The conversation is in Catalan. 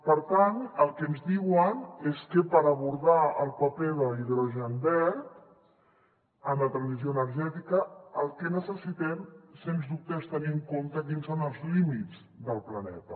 per tant el que ens diuen és que per abordar el paper de l’hidrogen verd en la transició energètica el que necessitem sens dubte és tenir en compte quins són els límits del planeta